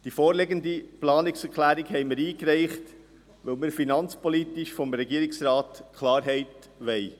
Die vorliegende Planungserklärung haben wir eingereicht, weil wir finanzpolitisch vom Regierungsrat Klarheit wollen.